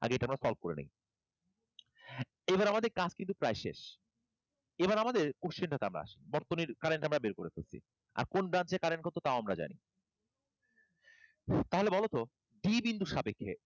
আগে এটা আমরা solve করে নিই। এবার আমাদের কাজ কিন্তু প্রায় শেষ, এবার আমাদের question টা টে আমরা আসি বর্তনীর current আমরা বের করে ফেলসি, আর কোন প্রান্তের current কত তাও আমরা জানি। তাহলে বলো ত b বিন্দুর সাপেক্ষে a এই,